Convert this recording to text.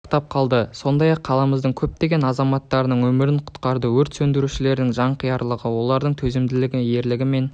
сақтап қалды сондай-ақ қаламыздың көптеген азаматтардың өмірін құтқарды өрт сөндірушілердің жанқиярлығы олардың төзімділігі ерлігі мен